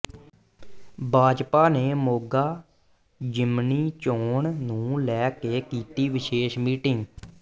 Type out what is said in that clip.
ਭਾਜਪਾ ਨੇ ਮੋਗਾ ਜ਼ਿਮਨੀ ਚੋਣ ਨੂੰ ਲੈ ਕੇ ਕੀਤੀ ਵਿਸ਼ੇਸ਼ ਮੀਟਿੰਗ